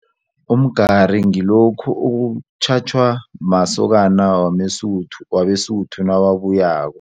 Umgari ngilokhu okutjhatjhwa masokana wameSuthu wabeSuthu nawabuyako.